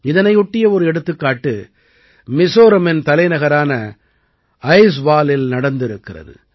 இதனையொட்டிய ஒரு எடுத்துக்காட்டு மிசோரமின் தலைநகரான ஐஜ்வாலில் நடந்திருக்கிறது